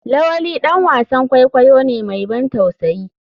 lawali dan wasan kwaikwayo ne mai ban tausayi.